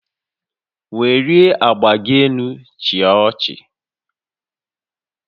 Welie agba gị elu chịa ọchị